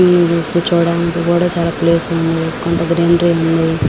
Sitting ఉంది. కూర్చోడానికి కూడా చాలా ప్లేస్ ఉంది. కొంత గ్రీనరీ ఉంది.